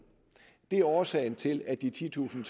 det er årsagen til at de titusind